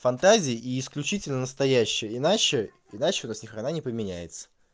фантазии и исключительно настоящие иначе иначе у вас ни хрена не поменяется